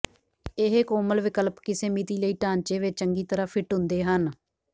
ਇਹ ਕੋਮਲ ਵਿਕਲਪ ਕਿਸੇ ਮਿਤੀ ਲਈ ਢਾਂਚੇ ਵਿੱਚ ਚੰਗੀ ਤਰ੍ਹਾਂ ਫਿੱਟ ਹੁੰਦੇ ਹਨ